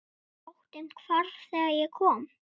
Óttinn hvarf þegar ég kom.